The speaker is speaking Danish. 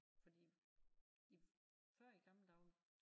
Fordi i før i gamle dage